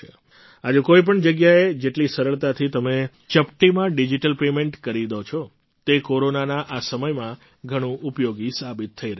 આજે કોઈ પણ જગ્યાએ જેટલી સરળતાથી તમે ચપટીમાં ડિજિટલ પેમેન્ટ કરી દો છો તે કોરોનાના આ સમયમાં ઘણું ઉપયોગી સાબિત થઈ રહ્યું છે